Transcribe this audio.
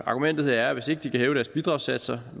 argumentet er at hvis ikke de kan hæve deres bidragssatser